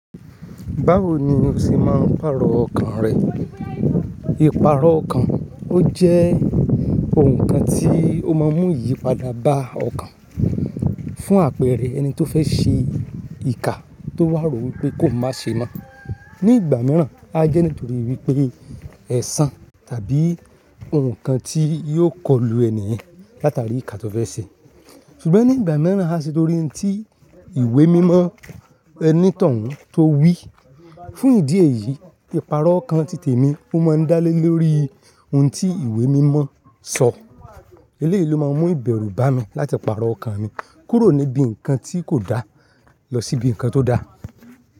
Báwo ni o ṣe máa ń pàrọ̀ ọkàn rẹ? Ìpàrọ̀ ọkàn ó jẹ́ ohun kan tí ó máa ń mú iyipada bá ọkàn fún àpẹẹrẹ ẹni tó fẹ́ ṣe ìkà tó wàró wípé kó oun maa ṣe mọ́. Ni ìgbà mìràn a jẹ́ nítorí wípé ẹ̀san tàbí ohun kan tí yóò kọlù ẹni yẹn látàrí ìkà tó fẹ́ ṣe. Ṣùgbọ́n ní ìgbà míràn a ṣe torí ohun tí ìwé mímọ ẹni tó ń to wí. Fún ìdí èyí, ìpàrọ̀ ọkàn títè mi ó máa ń dá lé lórí ohun tí ìwé mímọ sọ eléyì ló máa ń mú ìbẹ̀rù bá mi láti pàrọ̀ ọkàn mi kúrò níbi ǹkan tí kò da lọ sí ibi ǹkan tó da.